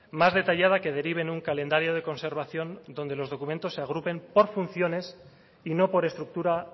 más detallada que derive en un calendario de conservación donde los documentos se agrupen por funciones y no por estructura